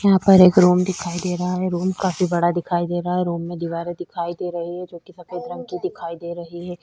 यहाँ पर एक रूम दिखाई दे रहा है रूम काफी बड़ा दिखाई दे रहा है रूम में दीवारे दिखाई दे रही है जो की सफ़ेद रंग की दिखाई दे रही है।